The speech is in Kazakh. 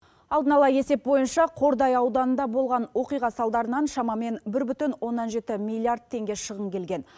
алдын ала есеп бойынша қордай ауданында болған оқиға салдарынан шамамен бір бүтін оннан жеті миллиард теңге шығын келген